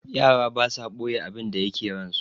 Yara basa ɓoye abinda yake ransu.